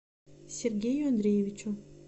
сергею андреевичу